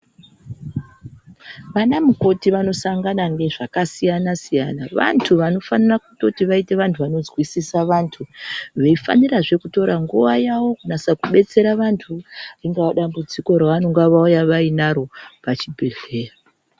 Vana mukoti vanosangana ngezvakasiyana siyana vantu vanofanira kutoti vaite vantu vonozwisisa vantu veifanirazve kutora nguwa yawo kunasa kubetsera vantu ringava dambudziko ravanonga vauya vainaro pachibhedhlera.